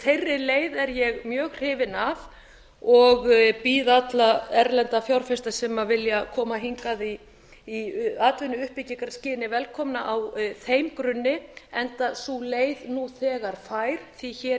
þeirri leið er ég mjög hrifin af og býð alla erlenda fjárfesta sem vilja koma hingað í atvinnuuppbyggingarskyni velkomna á þeim grunni enda sú leið nú þegar fær því hér